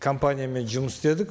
компаниямен жұмыс істедік